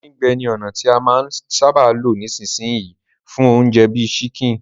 Díndín-gbẹ ni ònà ti a máa n sábà lo nisínsìn yii fún ounje bi chicken